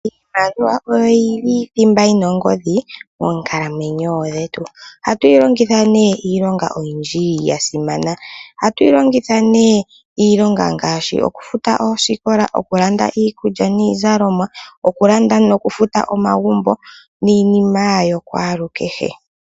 Iimaliwa oyo yili thimba yina ongodhi moonkalamwenyo dhetu ohatu yilongitha iilonga oyindji yasimana ohatu yilongitha nee iilonga ngaashi okufuta oosikola okulanda iikulya niizalomwa okulanda nokufuta omagumbo niinima yakwaalukeshe.